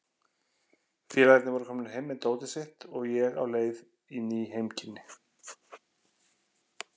Félagarnir voru komnir heim með dótið sitt og ég á leið í ný heimkynni.